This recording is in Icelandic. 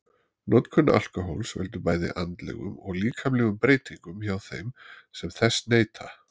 notkun alkóhóls veldur bæði andlegum og líkamlegum breytingum hjá þeim sem þess neyta